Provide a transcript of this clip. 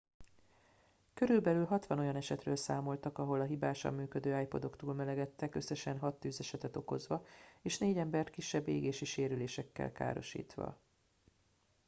körülbelül 60 olyan esetről számoltak ahol a hibásan működő ipodok túlmelegedtek összesen hat tűzesetet okozva és négy embert kisebb égési sérülésekkel károsítva